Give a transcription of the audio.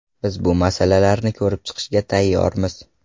Biz bu masalalarni ko‘rib chiqishga tayyormiz.